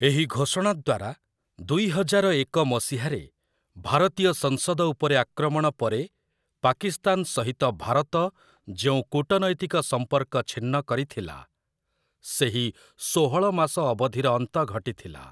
ଏହି ଘୋଷଣା ଦ୍ୱାରା, ଦୁଇ ହଜାରଏକ ମସିହାରେ ଭାରତୀୟ ସଂସଦ ଉପରେ ଆକ୍ରମଣ ପରେ ପାକିସ୍ତାନ ସହିତ ଭାରତ ଯେଉଁ କୂଟନୈତିକ ସମ୍ପର୍କ ଛିନ୍ନ କରିଥିଲା, ସେହି ଷୋହଳ ମାସ ଅବଧିର ଅନ୍ତ ଘଟିଥିଲା ।